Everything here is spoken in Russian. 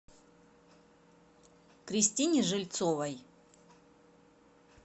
кристине жильцовой